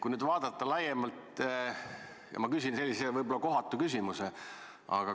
Kui nüüd vaadata laiemalt, siis ma küsin sellise kohatu küsimuse.